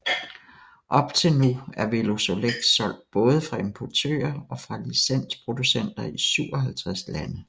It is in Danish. Op til nu er Velosolex solgt både fra importører og fra licensproducenter i 57 lande